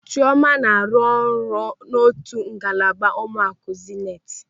Chịọma na-arụ ọrụ n'otu ngalaba ụlọaku Zenit.